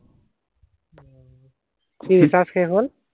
কি ৰিচাৰ্জ শেষ হল?